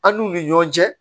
An n'u ni ɲɔgɔn cɛ